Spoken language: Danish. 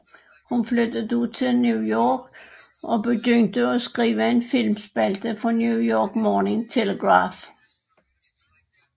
Hun flyttede da til New York og begyndte at skrive en filmspalte for New York Morning Telegraph